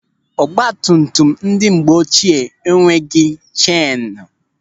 Ọgbatumtum ndị mgbe ochie enweghị chenu.